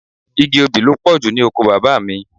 Igi obì ló pọ̀jù ní oko bàbá mi.